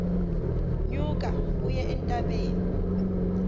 nyuka uye entabeni